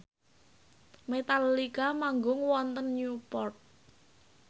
Metallica manggung wonten Newport